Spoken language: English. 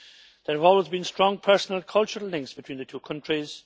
There have always been strong personal and cultural links between the two countries.